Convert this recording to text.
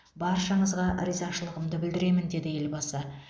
баршаңызға ризашылығымды білдіремін деді елбасы